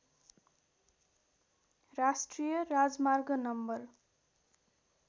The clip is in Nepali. राष्ट्रिय राजमार्ग नम्बर